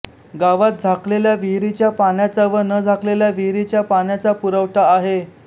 गावात झाकलेल्या विहिरीच्या पाण्याचा व न झाकलेल्या विहिरीच्या पाण्याचा पुरवठा आहे